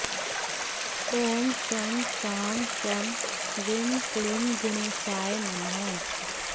ॐ शं शां षं ह्रीं क्लीं गुणेशानाय नमः